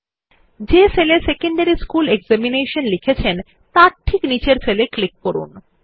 যে সেল এ secondary school examination লিখেছে তার ঠিক নিচের সেল এ ক্লিক করুন